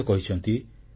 ସେ ମଧ୍ୟ କହିଛନ୍ତି